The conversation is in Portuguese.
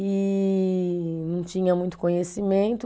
e não tinha muito conhecimento.